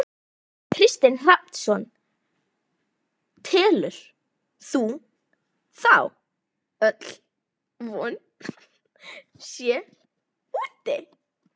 Kristinn Hrafnsson: Telur þú þá öll von sé úti?